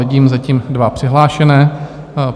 Vidím zatím dva přihlášené.